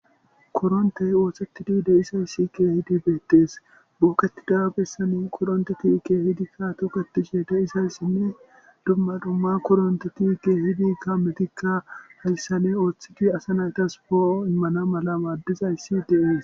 koronte woohseti di de isayssike hidi beettees buuketi daabissani koronte tiike hidikka tuketishe de isayssinne dumma dumma koronte tiike hidiikka metikka hayssane ooththigi asa naytas poo immana mala waaddizayssi de7es